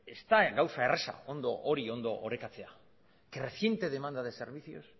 ez da gauza erraza hori ondo orekatzea creciente demanda de servicios